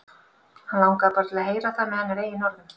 Hann langaði bara til að heyra það með hennar eigin orðum.